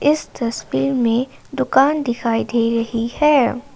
इस तस्वीर में दुकान दिखाई दे रही है।